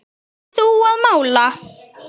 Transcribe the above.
Þú að mála.